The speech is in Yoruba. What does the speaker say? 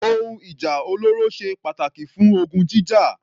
Ohun ìjà olóró ṣe pàtàkì fún ogun jíjà.